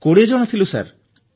20 ଜଣ ଥିଲୁ ସାର